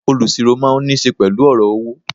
Olusiro máa ń nise pẹ̀lú ọ̀rọ̀ owó.